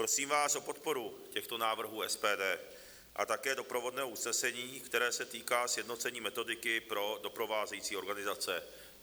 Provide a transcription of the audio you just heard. Prosím vás o podporu těchto návrhů SPD a také doprovodného usnesení, které se týká sjednocení metodiky pro doprovázející organizace.